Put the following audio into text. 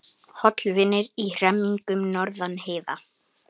Hollvinir í hremmingum norðan heiða